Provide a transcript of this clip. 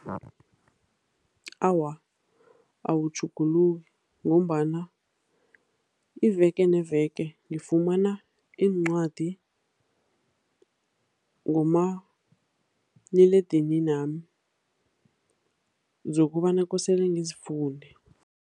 Awa, awutjhuguluki ngombana iveke neveke ngifumana iincwadi ngomaliledininami zokobana kosele ngizifunde.